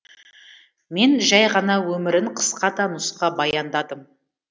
мен жәй ғана өмірін қысқа да нұсқа баяндадым